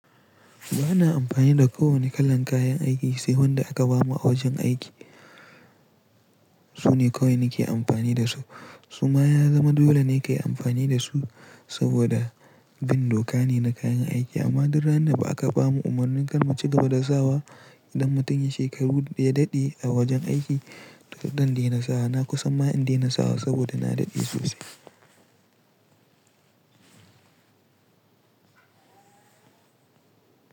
Ba na amfani da kowane kalan kayan aiki sai wanda aka bamu a wajen aiki. Su ne kawai nake amfani da su. Su ma ya zama dole ne ka yi amfani da su saboda bin doka ne na kayan aiki. Amma duk randa ba'a ka bamu umarni kar mu ci gaba da sawa idan mutum ya shekaru ya daɗe a wajen aiki, to zan dena sawa na kusan ma in daina sawa saboda na daɗe sosai.